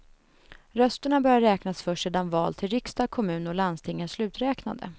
Rösterna börjar räknas först sedan val till riksdag, kommun och landsting är sluträknade.